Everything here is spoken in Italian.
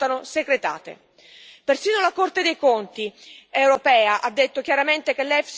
Persino la Corte dei conti europea ha detto chiaramente che l'EFSI ha un impatto limitato.